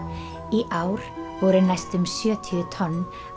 í ár voru næstum sjötíu tonn